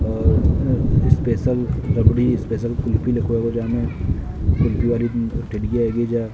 और ये special rabri special kulfi --